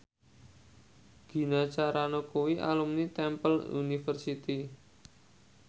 Gina Carano kuwi alumni Temple University